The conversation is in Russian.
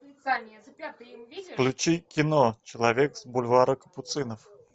включи кино человек с бульвара капуцинов